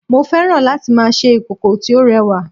mo fẹ́ràn láti ma ṣe ìkòkò tí ó rẹwa